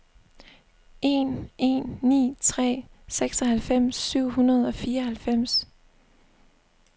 en en ni tre seksoghalvfems syv hundrede og fireoghalvfems